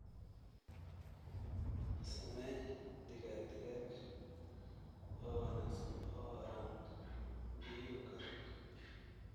Samee digaag digaag oo wanaagsan oo aan biyuhu karin.